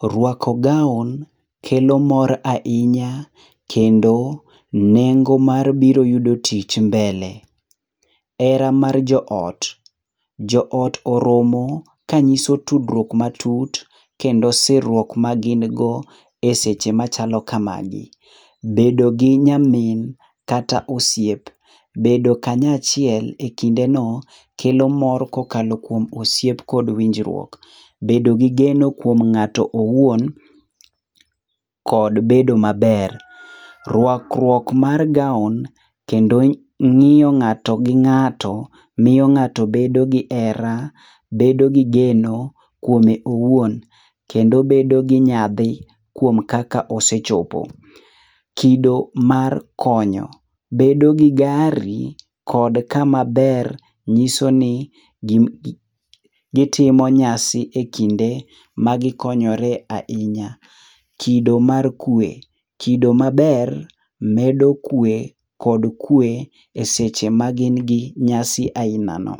Rwako gown kelo mor ahinya kendo nengo mar biro yudo tich mbele. Hera mar joot. Joot oromo kanyiso tudruok matut kendo sirruok magin go e seche machalo kamagi. Bedo gi nyamin kata osiep. Bedo kanyachiel e kindeno kelo mor kokalo kuom osiep kod winjruok. Bedogi geno kuom ng'ato owuon kod bedo maber. Rwakruok mar [c]gown kendo miyo ng'ato bedo gi hera, bedo gi geno kuome owuon. Kendo bedo gi nyadhi kuom kaka osechopo. Kido mar konyo ,bedo gi gari kod kamaber nyisoni gitimo nyasi e kinde magikonyore ahinya. Kido mar kwe. Kido maber medo kuwe kod kuwe e seche magin gi nyasi ainano.